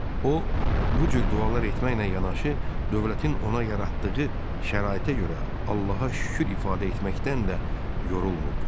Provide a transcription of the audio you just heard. O bu cür dualar etməklə yanaşı, dövlətin ona yaratdığı şəraitə görə Allaha şükür ifadə etməkdən də yorulmurdu.